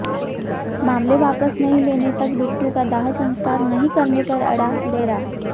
मामले वापस नहीं लेने तक बिट्टू का दाह संस्कार नहीं करने पर अड़ा डेरा